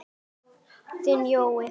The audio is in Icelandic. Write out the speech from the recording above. Þinn Leó.